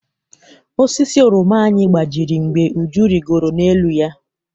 Osisi oroma anyị gbajiri mgbe Uju rigoro n'elu ya.